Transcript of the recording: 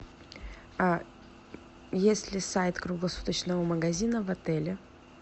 есть ли сайт круглосуточного магазина в отеле